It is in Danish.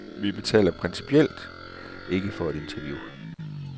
Vi betaler principielt ikke for et interview.